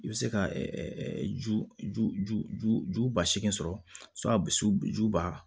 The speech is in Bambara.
I bɛ se ka ju ju ju ba seegin sɔrɔ ju ba